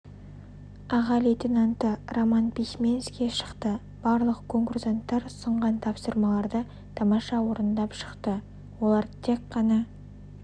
аға лейтенанты роман письменский шықты барлық конкурсанттар ұсынған тапсырмаларды тамаша орындап шықты олар тек қана